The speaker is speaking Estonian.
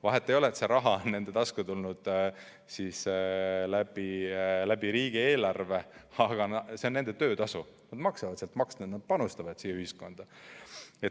Vahet ei ole, et see raha on nende tasku tulnud riigieelarvest, see on nende töötasu, nad maksavad sealt pealt makse, nad panustavad ühiskonda.